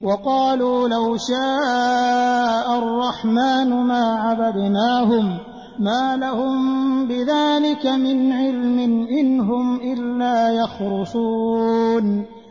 وَقَالُوا لَوْ شَاءَ الرَّحْمَٰنُ مَا عَبَدْنَاهُم ۗ مَّا لَهُم بِذَٰلِكَ مِنْ عِلْمٍ ۖ إِنْ هُمْ إِلَّا يَخْرُصُونَ